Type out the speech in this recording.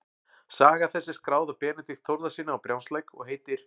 Saga þessi er skráð af Benedikt Þórðarsyni á Brjánslæk og heitir